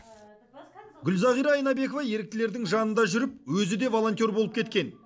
гүлзағира айнабекова еріктілердің жанында жүріп өзі де волонтер болып кеткен